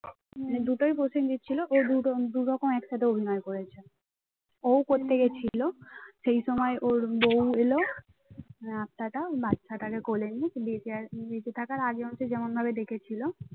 দুটোই প্রসেনজিৎ ছিল ও দুটো দুরকম একসাথে অভিনয় করেছে। ও-উ করতে গেছিল সেই সময় ওর বউ এলো মানে আত্মাটা বাচ্চাটাকে কোলে নিয়ে বেঁচে বেঁচে থাকার আগে হচ্ছে যেমন ভাবে রেখেছিল